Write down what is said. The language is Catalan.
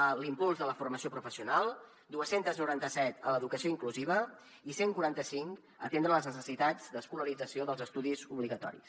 a l’impuls de la formació professional dos cents i noranta set a l’educació inclusiva i cent i quaranta cinc a atendre les necessitats d’escolarització dels estudis obligatoris